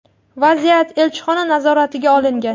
Vaziyat elchixona nazoratiga olingan.